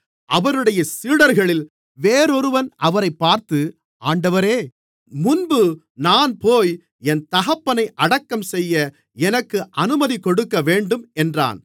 அவருடைய சீடர்களில் வேறொருவன் அவரைப் பார்த்து ஆண்டவரே முன்பு நான் போய் என் தகப்பனை அடக்கம்செய்ய எனக்கு அனுமதி கொடுக்கவேண்டும் என்றான்